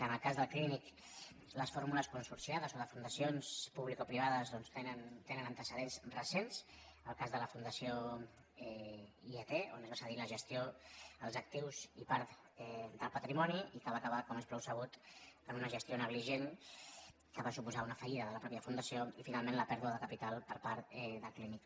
en el cas del clínic les fórmules consorciades o de fundacions publicoprivades tenen antecedents recents el cas de la fundació iat on es van cedir la gestió els actius i part del patrimoni i que va acabar com és prou sabut en una gestió negligent que va suposar una fallida de la mateixa fundació i finalment la pèrdua de capital per part del clínic